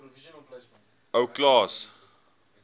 ou klaas